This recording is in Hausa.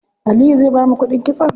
Aliyu zai bamu kuɗin kitson?